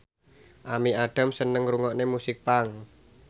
Amy Adams seneng ngrungokne musik punk